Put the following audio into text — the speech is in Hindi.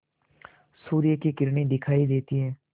सूर्य की किरणें दिखाई देती हैं